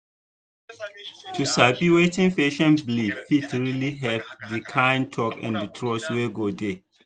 to sabi wetin patient believe fit really help the kind talk and trust wey go dey.